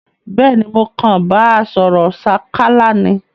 Béèni mo kan ba sòrò sákálá ni